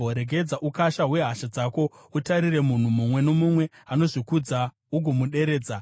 Regedzera ukasha hwehasha dzako, utarire munhu mumwe nomumwe anozvikudza ugomuderedza,